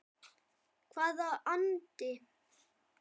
Hvaða andi?